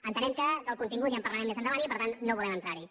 entenem que del contingut ja en parlarem més endavant i que per tant no volem entrar hi